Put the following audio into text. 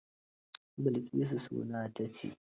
Bilkisu suna ta ci?